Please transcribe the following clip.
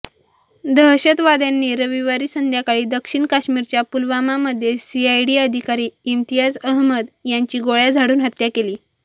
दहशतवाद्यांनी रविवारी संध्याकाळी दक्षिण काश्मीरच्या पुलवामामध्ये सीआयडी अधिकारी इम्तियाज अहमद यांची गोळय़ा झाडून हत्या केली